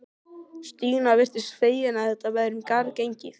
Stína virtist fegin að þetta væri um garð gengið.